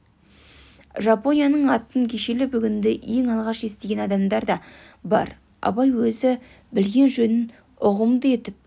жапонияның атын кешелі-бүгінді ең алғаш естіген адамдар да бар абай өзі білген жөнін ұғымды етіп көп